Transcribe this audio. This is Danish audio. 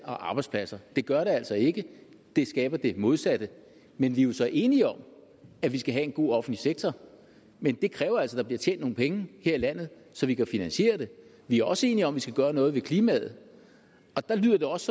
og arbejdspladser det gør det altså ikke det skaber det modsatte vi er jo så enige om at vi skal have en god offentlig sektor men det kræver altså at der bliver tjent nogle penge her i landet så vi kan finansiere den vi er også enige om at vi skal gøre noget ved klimaet og der lyder det også